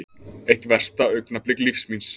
Eitt versta augnablik lífs míns